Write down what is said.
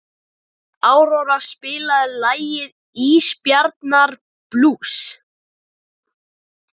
Áróra, spilaðu lagið „Ísbjarnarblús“.